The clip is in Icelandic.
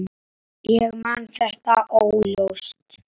Ég man þetta óljóst.